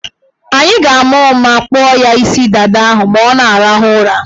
Anyị ga-ama ụma kpụọ ya isi dada ahụ ma ọ na-arahụ ụra.